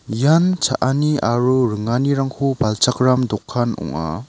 ian cha·ani aro ringanirangko palchakram dokan ong·a.